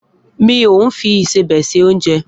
Mi o fi ìsẹbè se ounje.